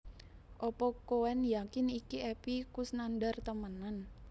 Opo koen yakin iki Epy Koesnandar temenan?